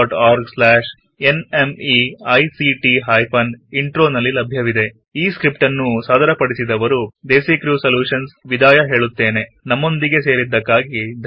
ಈ ಸ್ಕ್ರಿಪ್ಟ್ ಅನ್ನು ಸಾದರಪಡಿಸಿದವರು Priya Suresh Daisy Creative Solutions ಮತ್ತು ದ್ವನಿ ರಿಯಾ ವಿದಾಯ ಹೇಳುತ್ತೇನೆ